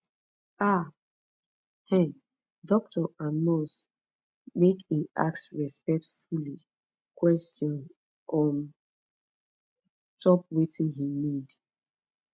ah um docto and nurse make en ask respectfully question on top wetin he need